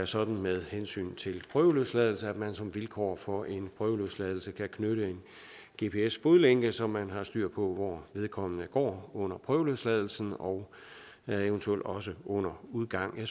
sådan med hensyn til prøveløsladelse at man som vilkår for prøveløsladelse kan knytte en gps fodlænke så man har styr på hvor vedkommende går under prøveløsladelsen og eventuelt også under udgang